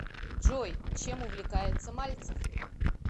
джой чем увлекается мальцев